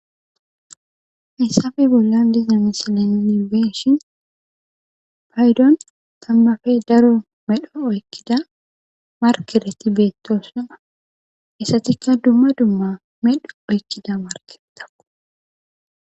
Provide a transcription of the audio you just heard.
Hayssappe bollan diza misile nuun beyishin payddon taamappe daro oykida markeretti bettossonna izettikka dumma dumma medho oykida markeretakko.